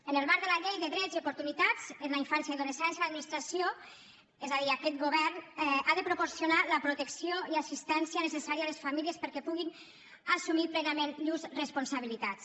en el marc de la llei de drets i oportunitats de la infància i l’adolescència l’administració és a dir aquest govern ha de proporcionar la protecció i l’assistència necessàries a les famílies perquè puguin assumir plenament llurs responsabilitats